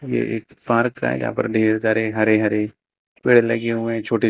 ये एक पार्क है यहां पर ढेर सारे हरे हरे पेड़ लगे हुए छोटे छो--